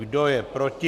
Kdo je proti?